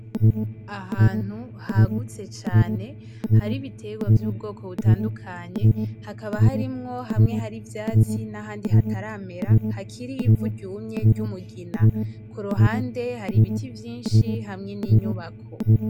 Ahantu hagutse cane, hari ibiterwa vy'ubwoko butandukanye hakaba harimwo hamwe hari ivyatsi n'ahandi hataramera hakiri ivu ryumye ry'umugina. Ku ruhande hari ibiti vyinshi hamwe n'inyubako.